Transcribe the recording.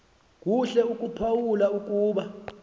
kuhle ukuphawula ukuba